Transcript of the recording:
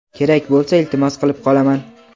kerak bo‘lsa iltimos qilib qolaman.